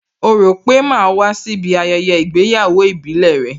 Ó rò pé màá wá síbí ayẹyẹ ìgbéyàwó ìbílẹ̀ rẹ?